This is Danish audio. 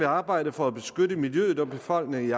arbejde for at beskytte miljøet og befolkningen i